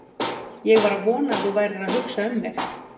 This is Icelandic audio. Ég var að vona að þú værir að hugsa um mig!